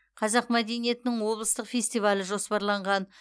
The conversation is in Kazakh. қазақ мәдениетінің облыстық фестивалі жоспарланған